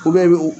O bɛɛ bɛ o